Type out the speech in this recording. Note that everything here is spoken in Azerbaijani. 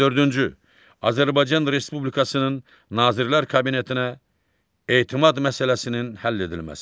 On dördüncü, Azərbaycan Respublikasının Nazirlər Kabinetinə etimad məsələsinin həll edilməsi.